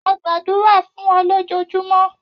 A gbadura fun o lojojumo.